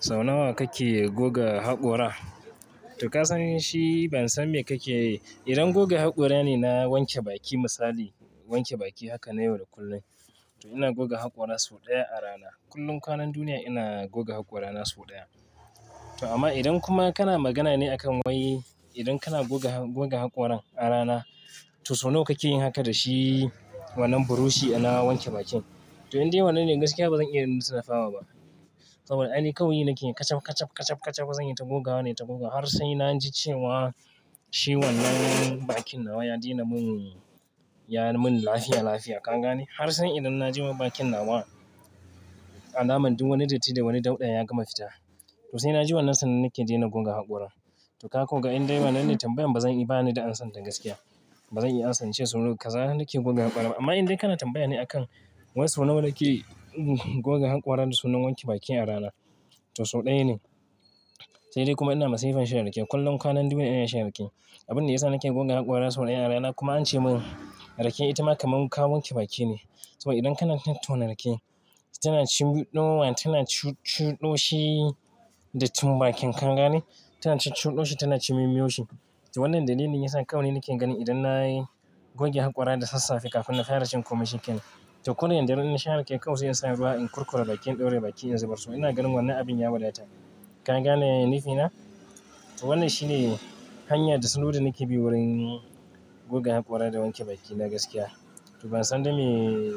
Sau nawa kake goga haƙora? To ka san shi ban san me kake yi. Idan goga haƙora ne na wanke baki misali, wanke baki haka na yau da kullum, to ina goga haƙora sau ɗaya a rana. Kullum kwanan duniya ina goga haƙora na sau ɗaya. To amma idan kuma kana magana ne a kan wai idan kana goga, goga haƙoran a rana, to sau nawa kake yin haka da shi wannan buroshi ana wanke bakin? To indai wannan ne gaskiya bazan iya lissafawa ba. Saboda ai kawai ni nake kachap, kachap, kachap, kachap zan yi ta goga wa ne, ta goga har sai na ji cewa shi wannan bakin nawa ya daina mun, ya mun lafiya, lafiya. Ka gane? Har sai idan na ji ma bakin nawa alaman duk wani datti da wani dauɗa ya gama fita. To sai na ji wannan sannan nake daina goga haƙora. To ka ko ga inda wannan ne tambayan bazan iya ba ni da an san ta gaskiya. Bazan iya ansa ce sau nawa kaza nake goga haƙora ba. Amma indai kana tambaya ne a kan wai sau nawa kake goga haƙoran da sanan wanke baki a rana, to sau ɗaya ne. Sai dai kuma ina masifan shan rake. Kullum kwanan duniya ina shan rake. Abin da ya sa nake goga haƙora sau ɗaya a rana kuma ance mun rake ita ma kamar kawun wanke baki ne. Saboda idan kana tattaunawar rake, tana cin ɗowa, tana cu, cuɗoshi da tum bakin ka, ka gane? Tana cin cuɗoshi, tana cin mumiyoshi. To wannan dalilin yasa kawai nake ganin idan na goge haƙora da sassafe kafin na kai rashin komai shikenan. To ko da daddare na shan rake kawai zai sa ruwa in kurkura bakin, ɗauraye bakin in zubar su. Ina ganin wannan abin ya wadata. Ka gane nufina? To wannan shi ne hanya da sanudi nake bi wurin goga haƙora da wanke baki na gaskiya. To ban san da me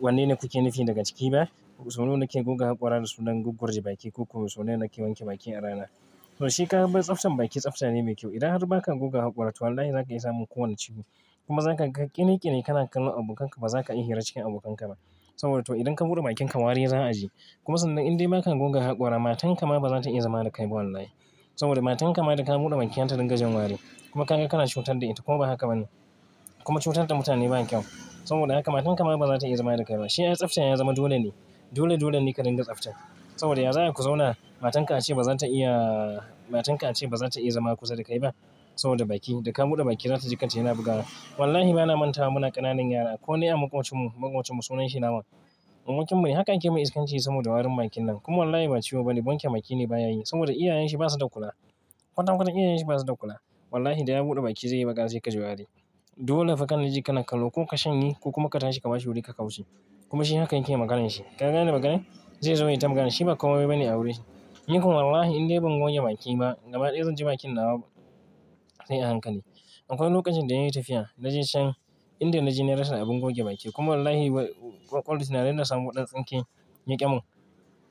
wanne ne kuke nufi daga ciki ba. Sau nawa nake goga haƙora da sanan gurguje baki ko koko sau nawa kake wanke baki a rana? To shi kaga dai tsaftan baki tsafta ne mai kyau. Idan har ba ka goga haƙora, to wallahi za ka isa mun kowane ciwo. Kuma za ka ƙiriƙiri kana kallo abokanka ba za ka iya hira cikin abokanka ba. Saboda to idan ka buɗe bakinka wari za a ji. Kuma sannan indai ba ka goga haƙora matanka ma bazata iya zama da kai ba wallahi. Saboda matanka ma idan ka buɗe bakinka ta dinga jin wari kuma ka, kana cutar da ita ko ba haka ba ne? Kuma cutar da mutane ba kyau. Saboda haka matanka ma bazata iya zama da kai ba. Shima tsafta ya zama dole ne. Dole, dole ne ka dinga tsafta. Saboda ya za ai ku zauna? Matanka ace bazata iya, matanka ace bazata iya zama kusa da kai ba saboda baki. Da ka buɗe baki zata ji kanta yana bugawa. Wallahi ba na manta ba muna ƙananan yara ko ne a makocinmu, makocinmu sunan shi nawa? Abokin mune. Haka muke mai iskanci saboda warin bakin nan. Kuma wallahi ba ciwo bane. Wanke bakine baya yi saboda iyayen shi basu da kula. Kwata kwata iyayen shi basu da kula. Wallahi da ya buɗe baki zai yi magana sai kaji wari. Dole fa kana ji kana kallo ko ka shanye ko kuma ka tashi ka bashi wuri ka ka kauce. Kuma shi haka yake maganar shi. Ka gane maganar? Zai zo yai ta maganar shi ba komai bane a wurin shi. Ni kuma wallahi idan bai goge bakin ba gaba ɗaya zan ji bakin nawa sai a hankali. Akwai lokacin da na yi tafiya na je can inda na je na rasa abin goge baki. Kuma wallahi wa, tunanin da na samo ɗan tsinke yaki mun.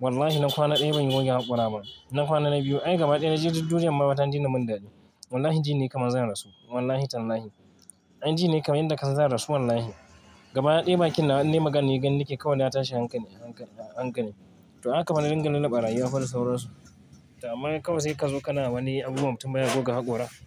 Wallahi na kwana ɗaya ban goge haƙora ba. Na kwana na biyu ai gaba ɗaya na ji duk duniyar ma ta daina mun daɗi. Wallahi ji ne kamar zan rasu. Wallahi tallahi. Ai ji ne kamar inda ka san zan rasu wallahi. Gaba ɗaya bakin na an nemi magani ganin nake kawai na tashi a hankali, a hankali, a hankali. To haka na dinga lallaba rayuwa fa da sauransu. To amma kawai zai kazo kana wani abu kuma mutum ya goga haƙora.